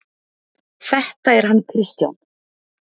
Þetta er hann Kristján.